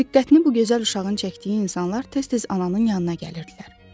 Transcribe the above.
Diqqətini bu gözəl uşağın çəkdiyi insanlar tez-tez ananın yanına gəlirdilər.